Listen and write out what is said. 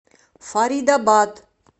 фаридабад